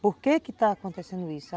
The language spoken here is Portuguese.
Por que que está acontecendo isso?